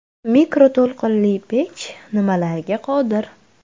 Mikroto‘lqinli pech nimalarga qodir?